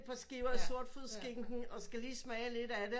Par skiver sortfodsskinke og skal lige smage lidt af det